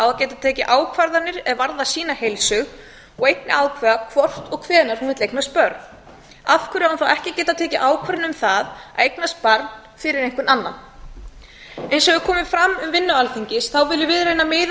geta tekið ákvarðanir er varðar sína heilsu og einnig ákveða hvort og hvenær hún vill eignast börn af hverju á hún þá ekki að geta tekið ákvörðun um það að eignast barn fyrir einhvern annan eins og fram hefur komið um vinnu alþingis þá viljum við raunar miða